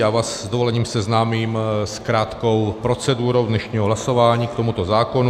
Já vás s dovolením seznámím s krátkou procedurou dnešního hlasování k tomuto zákonu.